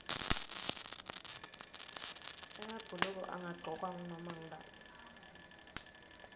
emabhuluko angagcokwa ngunoma ngubani